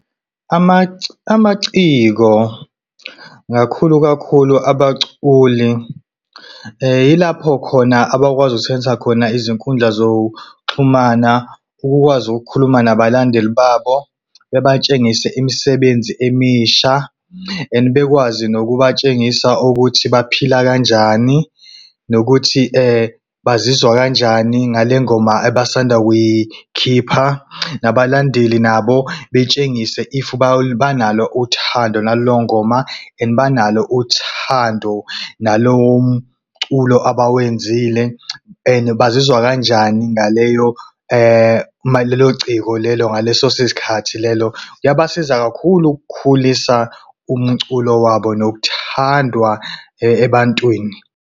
Amaciko kakhulu kakhulu abaculi, yilapho khona abakwazi ukusebenzisa khona izinkundla zokuxhumana ukukwazi ukukhuluma nabalandeli babo. Bebatshengise imisebenzi emisha and bekwazi nokubatshengisa ukuthi baphila kanjani nokuthi bazizwa kanjani ngale ngoma abasanda kuyikhipha, nabalandeli nabo betshengise if banalo uthando nalo ngoma and banalo uthando nalowo mculo abawenzile, and bazizwa kanjani ngaleyo ngalelo ciko lelo ngaleso sikhathi lelo. Kuyabasiza kakhulu ukukhulisa umculo wabo nokuthandwa, ebantwini.